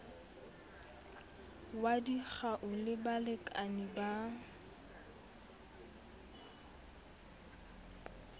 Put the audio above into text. wa dikgau le balekane ba